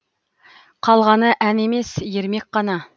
қалғаны ән емес ермек қана